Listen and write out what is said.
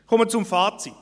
Ich komme zum Fazit.